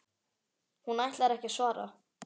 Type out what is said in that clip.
Hún ætlar ekki að svara.